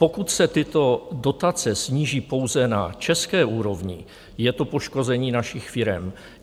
Pokud se tyto dotace sníží pouze na české úrovni, je to poškození našich firem.